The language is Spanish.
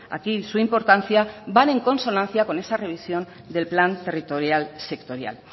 aquí su importancia van en consonancia con esa revisión del plan territorial sectorial